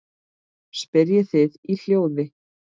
spyrjið þið í hljóði.